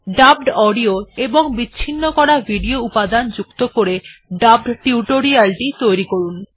dubbed audio এবং বিচ্ছিন্ন করা ভিডিও উপাদান যুক্ত করে ডাবড টিউটোরিয়ালটি তৈরি করুন